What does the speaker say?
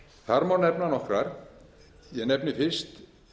þar má nefna nokkrar ég nefni fyrst